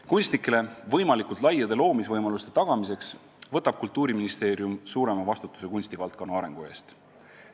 Kunstnikele võimalikult laiade loomisvõimaluste tagamiseks võtab Kultuuriministeerium suurema vastutuse kunstivaldkonna arengu eest.